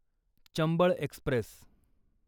Chambal Express